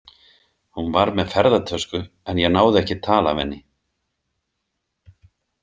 Hún var með ferðatösku, en ég náði ekki tali af henni.